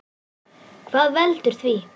Hvað veldur því?